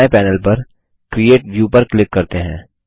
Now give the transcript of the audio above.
दायें पैनल पर create view पर क्लिक करते हैं